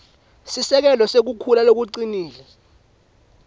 sisekelo sekukhula lokucinile